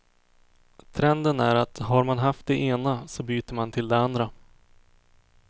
Trenden är att har man haft det ena, så byter man till det andra.